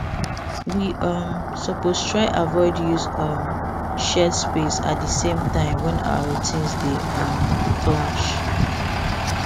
we um suppose try avoid use um shared space at di same time when our routines dey um clash